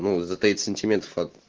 ну за тридцать сантиметров